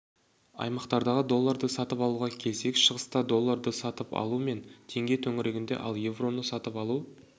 аймақтардағы долларды сатып алуға келсек шығыста долларды сатып алу пен теңге төңірегінде ал евроны сатып алу